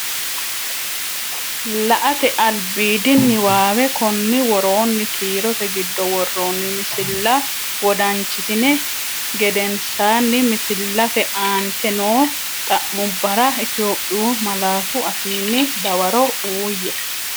La”ate albiidi niwaawe Konni woroonni kiirote giddo worroonni misilla wodanchitini geden- saanni misillate aante noo xa’mubbara Itophiyu malaatu afiinni dawaro uuyye.